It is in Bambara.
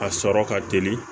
A sɔrɔ ka teli